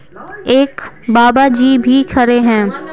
एक बाबा जी भी खड़े हैं।